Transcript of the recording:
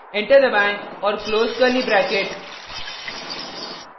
enter दबाएँ और close curly bracket